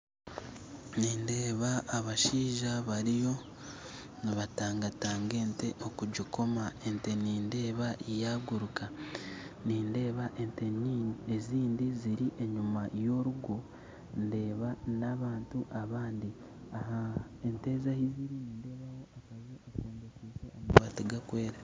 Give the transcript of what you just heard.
Nindeeba abashaija bariyo nibatangatanga ente okugikoma ente nindeeba yaguruka nindeeba ente ezindi ziri enyuma ya orugo ndeeba na abantu bandi aha ente ezi aha ziri nindeebaho akaju kombikyise amabatu garukwera